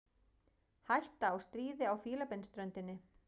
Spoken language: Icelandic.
Hætta á stríði á Fílabeinsströndinni